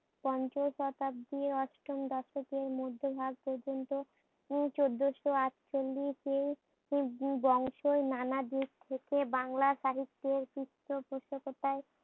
পঞ্চশতাব্দী অষ্টম দশক এর মধ্যেভাগ উম পর্যন্ত চোদ্দোশো আটচল্লিশ বংশ নানাদিক থেকে বাংলা সাহিত্যের পৃষ্ট পোষকতায়